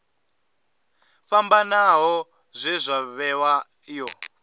fhambanaho zwe zwa vhewa io